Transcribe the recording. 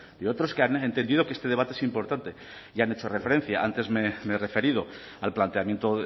de otros que han entendido que este debate es importante ya han hecho referencia antes me he referido al planteamiento